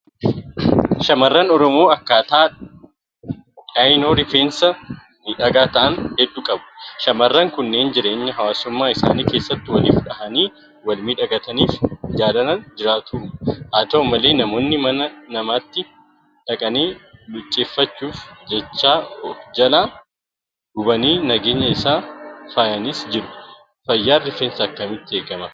shamarran Oromoo akkaataa dhayinoo Rifeensaa miidhagaa ta'an hedduu qabu. Shaamarran kunneen jireenya hawaasummaa isaanii keessatti waliif dhahanii walmiidhagfatanii jaalalaan jiraatu. Haata'u malee namoonni mana mataatti dhaqanii luucceffachuuf jecha ofjalaa gubanii nageenya isaa faayanis jiru. Fayyaan Rifeensaa akkamitti eegama?